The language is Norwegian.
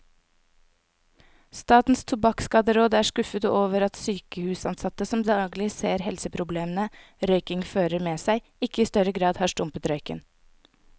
Statens tobakkskaderåd er skuffet over at sykehusansatte, som daglig ser helseproblemene røykingen fører med seg, ikke i større grad har stumpet røyken.